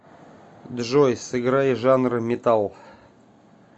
джой сыграй жанр металл